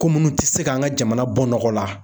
Ko munnu tɛ se k'an ka jamana bɔ nɔgɔ la